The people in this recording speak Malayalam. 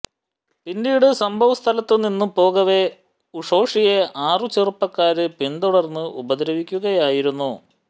പിന്നീട് സംഭവ സ്ഥലത്ത് നിന്നും പോകവെ ഉഷോഷിയെ ആറു ചെറുപ്പക്കാര് പിന്തുടര്ന്ന് ഉപദ്രവിക്കുകയായിരുന്നു